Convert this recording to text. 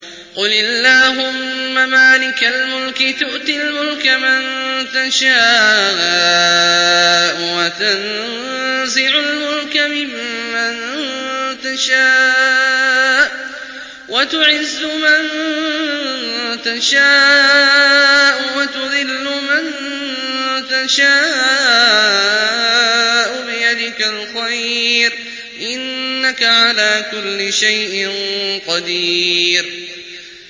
قُلِ اللَّهُمَّ مَالِكَ الْمُلْكِ تُؤْتِي الْمُلْكَ مَن تَشَاءُ وَتَنزِعُ الْمُلْكَ مِمَّن تَشَاءُ وَتُعِزُّ مَن تَشَاءُ وَتُذِلُّ مَن تَشَاءُ ۖ بِيَدِكَ الْخَيْرُ ۖ إِنَّكَ عَلَىٰ كُلِّ شَيْءٍ قَدِيرٌ